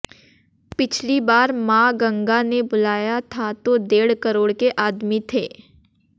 पिछली बार मां गंगा ने बुलाया था तो डेढ़ करोड़ के आदमी थे